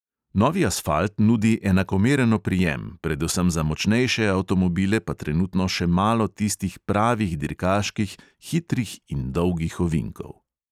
Novi asfalt nudi enakomeren oprijem, predvsem za močnejše avtomobile pa trenutno še malo tistih pravih dirkaških hitrih in dolgih ovinkov.